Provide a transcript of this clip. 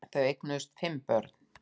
Þau eignuðust fimm börn